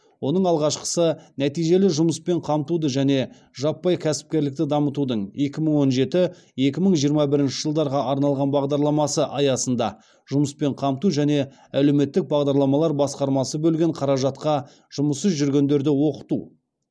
оның алғашқысы нәтижелі жұмыспен қамтуды және жаппай кәсіпкерлікті дамытудың екі мың он жеті екі мың жиырма бірінші жылдарға арналған бағдарламасы аясында жұмыспен қамту және әлеуметтік бағдарламалар басқармасы бөлген қаражатқа жұмыссыз жүргендерді оқыту